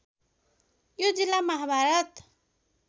यो जिल्ला महाभारत